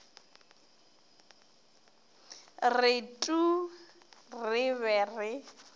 re tuu re be re